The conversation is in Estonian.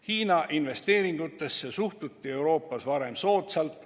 Hiina investeeringutesse suhtuti Euroopas varem soodsalt.